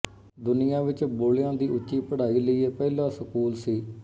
ਦੁਨੀਆ ਵਿੱਚ ਬੋਲ਼ਿਆਂ ਦੀ ਉੱਚੀ ਪੜ੍ਹਾਈ ਲਈ ਇਹ ਪਹਿਲਾ ਸਕੂਲ ਸੀ